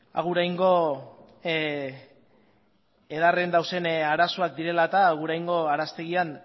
aguraingo edaren dauden arazoak direla eta aguraingo araztegian